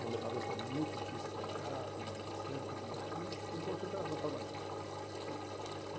Uma metalúrgica muito difícil de trabalhar, com uma série de dificuldades, mas o importante era estar trabalhando.